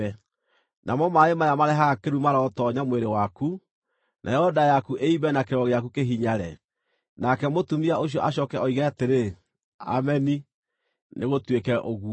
Namo maaĩ maya marehaga kĩrumi marotoonya mwĩrĩ waku, nayo nda yaku ĩimbe na kĩero gĩaku kĩhinyare.” “ ‘Nake mũtumia ũcio acooke oige atĩrĩ, “Ameni, nĩgũtuĩke ũguo.”